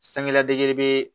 Sanfɛla dege bee